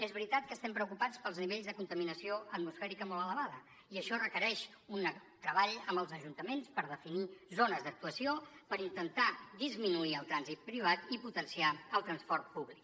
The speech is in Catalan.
és veritat que estem preocupats pels nivells de contaminació atmosfèrica molt elevada i això requereix un treball amb els ajuntaments per definir zones d’actuació per intentar disminuir el trànsit privat i potenciar el transport públic